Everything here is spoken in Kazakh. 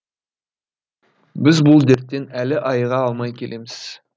біз бұл дерттен әлі айыға алмай келеміз